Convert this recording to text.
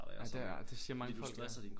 Nej det det siger mange folk ja